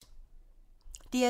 DR2